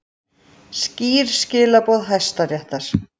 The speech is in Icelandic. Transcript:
Skýr skilaboð Hæstaréttar